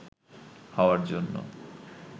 হওয়ার জন্য